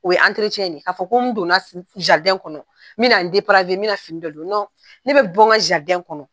O ye ka fɔ ko n don na kɔnɔ n be na n be na fini dɔ don ne be bɔ n ka kɔnɔ